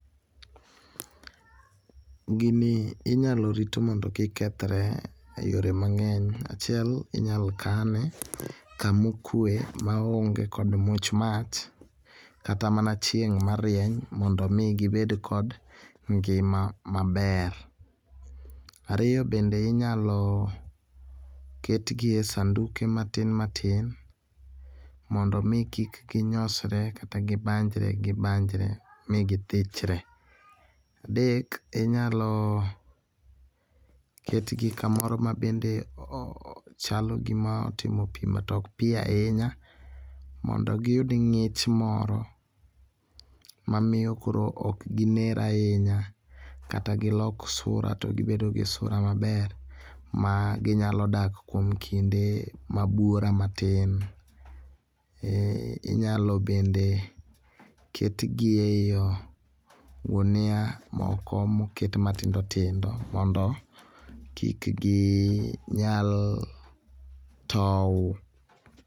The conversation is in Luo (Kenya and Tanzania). Gini inyalo rit mondo kik kethre e yore mangeny. Achiel inyal kane kama okwe maonge kod much mach kata mana chieng marieny mondo mi gibed kod ngima maber. Ariyo be en ni inyal ketgi e sanduke ma tin matin mondo mi kik ginyosre kata gibanjre gibanjre mi githichre. Adek inyalo ketgi kamoro mabende chalo gima otimo pii to ok pii ahinya mondo giyud ngich moro mamiyo koro ok giner ahinya kata gilok sura to gibedo gi sura maber ma ginyalo dak kuom kinde ma buora matin. Inyalo bende ketgi e gunia moko moket matindo tindo mondo kik ginyal tow.